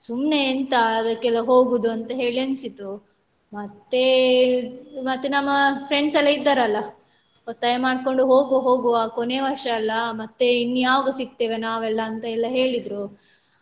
ಸುಮ್ನೆ ಎಂತ ಅದಕೆಲ್ಲ ಹೋಗುದಂತ ಹೇಳಿ ಅನ್ನಿಸಿತು ಮತ್ತೇ ಮತ್ತೆ ನಮ್ಮ friends ಎಲ್ಲ ಇದ್ದಾರಲ ಒತ್ತಾಯ ಮಾಡ್ಕೊಂಡು ಹೋಗುವ ಹೋಗುವ ಕೊನೆ ವರ್ಷ ಅಲ್ಲ ಮತ್ತೆ ಇನ್ ಯಾವಾಗ ಸಿಗ್ತೇವೆ ನಾವೆಲ್ಲಾ ಅಂತ ಎಲ್ಲ ಹೇಳಿದ್ರು.